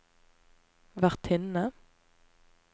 vertinne